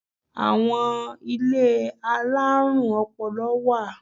Ilé àwọn alárùn ọpọlọ wà.